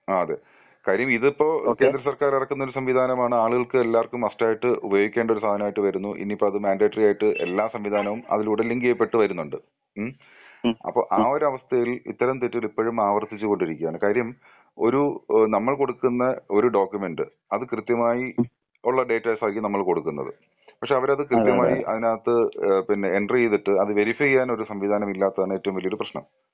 ആ അതെ കാര്യം ഇതിപ്പോ കേന്ദ്രസർക്കാർ ഇറക്കുന്ന ഒരു സംവിധാനമാണ് ആളുകൾക്ക് എല്ലാവർക്കും മസ്റ്റായിട്ട് ഉപയോഗിക്കേണ്ട ഒരു സാധനമായിട്ട് വരുന്നു. ഇനിയിപ്പോ അത് മാൻഡ്രേറ്ററി ആയിട്ട് എല്ലാ സംവിധാനവും അതിലൂടെ ലിങ്കിയ പെട്ട് വരുന്നുണ്ട്. ഉം അപ്പോ ആ ഒരു അവസ്ഥയിൽ ഇത്തരം തെറ്റ് ഇപ്പഴും ആവർത്തിച്ചു കൊണ്ടിരികയാണ്. കാര്യം ഒരു ഏഹ് നമ്മൾ കൊടുക്കുന്ന ഒരു ഡോക്യുമെന്റ് അത് കൃത്യമായി ഉള്ള ഡേറ്റാസ് ആയിരിക്കും നമ്മള്‍ കൊടുക്കുന്നത്. പക്ഷെ അവര് അത് കൃത്യമായി അതിനകത്ത് ഏഹ് പിന്നെ എൻട്രിയിതിട്ട് അത് വെരിഫയ്യ്യാൻ ഒരു സംവിധാനം ഇല്ലാത്തതാണ് ഏറ്റവും വലിയ ഒരു പ്രശ്നം.